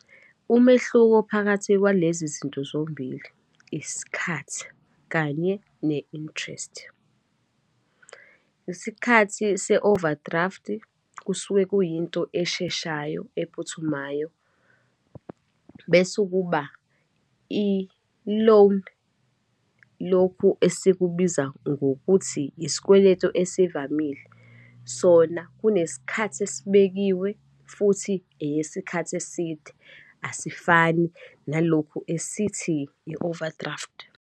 Umehluko phakathi kwalezi zinto zombili, isikhathi, kanye ne-interest. Isikhathi se-overdraft-i, kusuke kuyinto esheshayo, ephuthumayo. Bese kuba i-loan, lokhu esikubiza ngokuthi isikweletu esivamile, sona kunesikhathi esibekiwe, futhi eyesikhathi eside, asifani nalokhu esithi i-overdraft.